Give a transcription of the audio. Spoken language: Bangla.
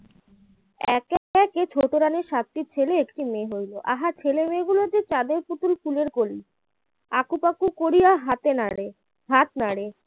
একে একে ছোট রানীর সাতটি ছেলে একটি মেয়ে হল আহা ছেলেমেয়েগুলো যে চাঁদের পুতুল ফুলের কলি আঁকুপাঁকু করিয়া হাতে নাড়ে হাত নাড়ে